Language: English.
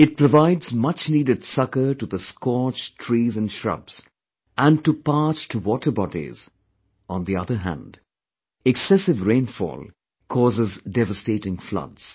It provided much needed succor to the scorched trees & shrubs, and to parched water bodies; on the other hand excessive rainfall causes devastating floods